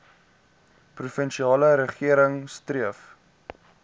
provinsiale regering streef